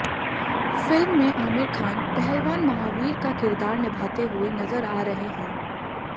film में आमिर खान पहलवान महावीर का किरदार निभाते हुए नजर आ रहे हैं